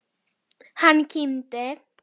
Hann kímdi.